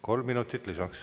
Kolm minutit lisaks.